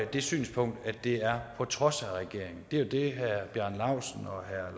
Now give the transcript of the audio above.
det synspunkt at det er på trods af regeringen det er det herre bjarne laustsen og herre